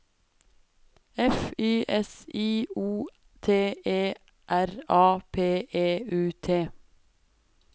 F Y S I O T E R A P E U T